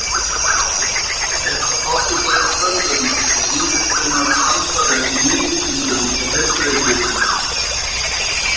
Er þá átt við bæði tölvurnar og ýmiss konar framfarir í lífvísindum og heilbrigðisvísindum.